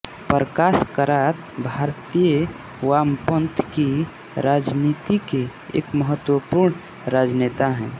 प्रकाश करात भारतीय वामपंथ की राजनीति के एक महत्वपूर्ण राजनेता हैं